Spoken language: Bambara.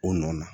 O nɔ na